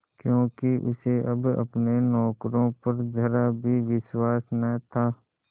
क्योंकि उसे अब अपने नौकरों पर जरा भी विश्वास न था